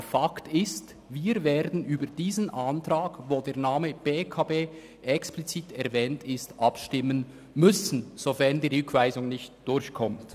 Aber Fakt ist: Wir werden über diesen Antrag, in welchem der Name «BEKB» explizit erwähnt ist, abstimmen müssen, sofern die Rückweisung nicht durchkommt.